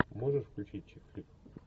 можешь включить чик флик